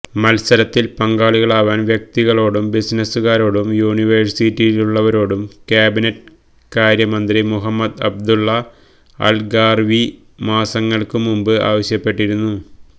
മത്സരത്തില് പങ്കാളികളാവാന് വ്യക്തികളോടും ബിസിനസുകാരോടും യൂണിവേഴ്സിറ്റിയിലുള്ളവരോടും ക്യാബിനറ്റ് കാര്യ മന്ത്രി മുഹമ്മദ് അബ്ദുല്ല അല് ഗര്ഗാവി മാസങ്ങള്ക്ക് മുമ്പ് ആവശ്യപ്പെട്ടിരുന്നു